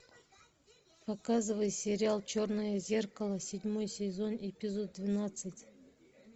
показывай сериал черное зеркало седьмой сезон эпизод двенадцать